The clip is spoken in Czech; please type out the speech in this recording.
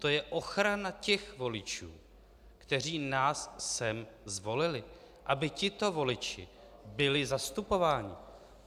To je ochrana těch voličů, kteří nás sem zvolili, aby tito voliči byli zastupováni.